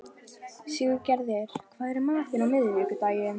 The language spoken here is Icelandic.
Siggerður, hvað er í matinn á miðvikudaginn?